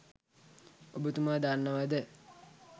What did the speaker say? ඔබතුම දන්නවද?